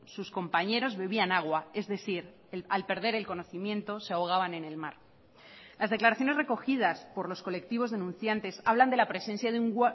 sus compañeros bebían agua es decir al perder el conocimiento se ahogaban en el mar las declaraciones recogidas por los colectivos denunciantes hablan de la presencia de un